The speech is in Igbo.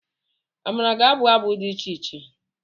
Amara ga-abụ abụ dị iche iche.